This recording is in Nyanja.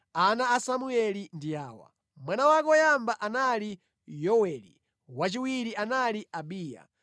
Ana a Samueli ndi awa: Mwana wake woyamba anali Yoweli, wachiwiri anali Abiya.